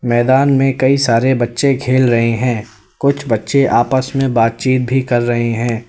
मैदान में कई सारे बच्चे खेल रहे हैं कुछ बच्चे आपस में बातचीत भी कर रहे हैं।